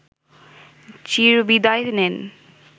চিরবিদায় নেন